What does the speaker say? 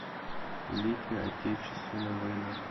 великая отечественная война